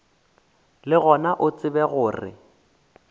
le gona o tsebe gore